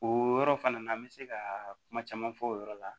O yɔrɔ fana na an bɛ se ka kuma caman fɔ o yɔrɔ la